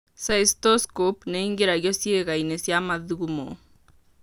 Cystoscope nĩ ĩingĩragio ciĩga-inĩ cia mathugumo.